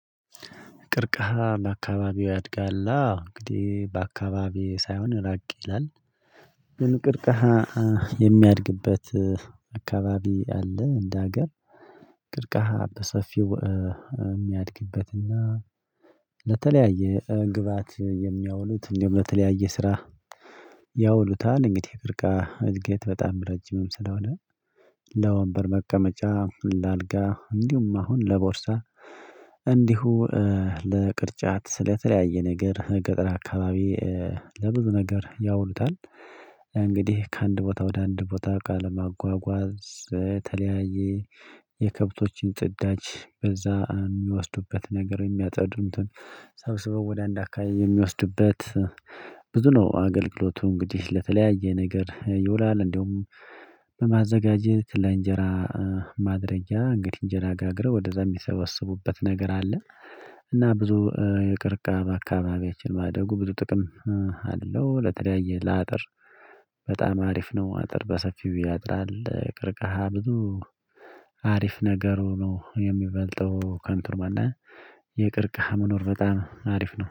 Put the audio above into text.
ቀርክሃ በአካባቢዎ ያድጋል? አዎ እንግዲህ በአካባቢዬ ሳይሆን ራቅ ይላል ግን ቀርክሃ የሚያድግበት አካባቢ አለ እንደ ሀገር ቀርክሃ በሰፊው የሚያድግበትና ለተለያየ ግብአት የሚያውሉት እንደው በተለያየ ስራ ያውሉታል እንግዲህ የቀርክሃ እድገት በጣም ረጅምም ስለሆነ ለወንበር መቀመጫ ለአልጋ እንዲሁም አሁን ለቦርሳ እንዲሁ ለቅርጫት ለተለያየ ነገር ገጠር አካባቢ ለብዙ ነገር ያውሉታል እንግዲህ ከአንድ ቦታ ወደ አንድ ቦታ እቃ ለማጓጓዝ የተለያየ የከብቶችን ጽዳጅ በዛ የሚወስዱበት ነገር የሚያጸዱ እንትን ሰብስበው ወደ አንድ አካባቢ የሚወስዱበት ብዙ ነው አገልግሎቱ እንግዲህ ለተለያየ ነገር ይውላል እንዲሁም በማዘጋጀት ለእንጀራ ማድረጊያ እንግዲህ እንጀራ ጋግረው ወደዛ የሚሰበስቡበት ነገር አለ እና ብዙ የቀርከሃ በአካባቢያችን ማደጉ ብዙ ጥቅም አለው ለተለያየ ለአጥር በጣም አሪፍ ነው አጥር በሰፊው ያጥራል ቀርክሃ ብዙ አሪፍ ነገሩ ነው የሚበልጠው ከንቱር ማንነት የቅርቅሃ መኖር በጣም አሪፍ ነው